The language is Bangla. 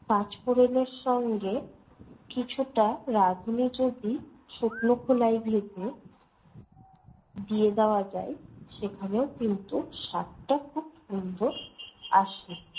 পাঁচ ফোড়নের সঙ্গে কিছুটা রাঁধুনি যদি শুকনো খোলায় ভেজে দিয়ে দেওয়া যায়, সেখানেও কিন্তু স্বাদটা খুব সুন্দর আসে।